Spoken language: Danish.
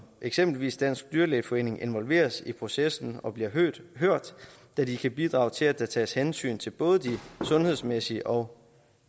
eksempelvis den danske dyrlægeforening involveres i processen og bliver hørt da de kan bidrage til at der tages hensyn til både de sundhedsmæssige og